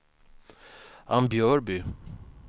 Ambjörby